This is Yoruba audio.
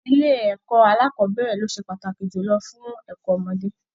Ilé ẹ̀kọ́ alákọ̀bẹ̀rẹ̀ ló ṣe pàtàkì julọ fún ẹ̀kọ́ ọmọdé.